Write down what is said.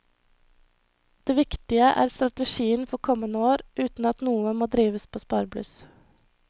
Det viktige er strategien for kommende år, uten at noe må drives på sparebluss.